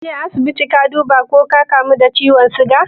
Kaje asibiti ka duba ko ka kamu da ciwon siga?